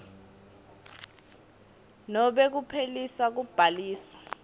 nobe kuphelisa kubhaliswa